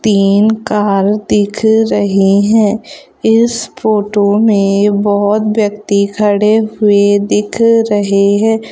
तीन काल दिख रहे हैं इस फोटो में बहुत व्यक्ति खड़े हुए दिख रहे हैं।